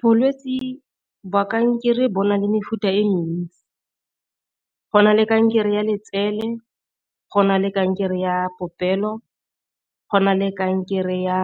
Bolwetsi ba kankere bo na le mefuta e mentsi go na le kankere ya letsele, go na le kankere ya popelo, go na le kankere ya